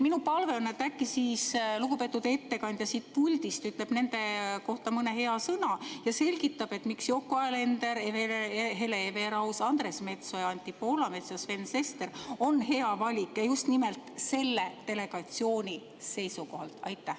Minu palve on, et lugupeetud ettekandja siit puldist ütleb nende kohta mõne hea sõna ja selgitab, miks Yoko Alender, Hele Everaus, Andres Metsoja, Anti Poolamets ja Sven Sester on hea valik just nimelt selle delegatsiooni seisukohalt.